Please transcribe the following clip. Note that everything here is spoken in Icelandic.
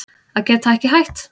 Að geta ekki hætt